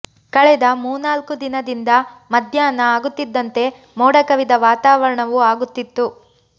ಕಳೆದ ಮೂನಾಲ್ಕು ದಿನದಿಂದ ಮದ್ಯಾಹ್ನ ಆಗುತ್ತಿದ್ದಂತೆ ಮೋಡ ಕವಿದ ವಾತವರಣವು ಆಗುತ್ತಿತ್ತು